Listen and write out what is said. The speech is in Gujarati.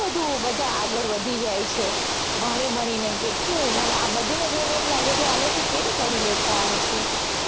બધું બધા આગળ વધી જાય છે ભણી ભણી ને કેટલુ આ બધાને જોઈને એમ લાગે છે આ લોકો કેમ કરી લેતા હશે